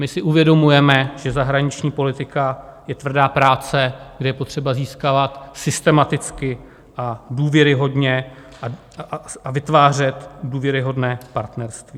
My si uvědomujeme, že zahraniční politika je tvrdá práce, kde je potřeba získávat systematicky a důvěryhodně a vytvářet důvěryhodné partnerství.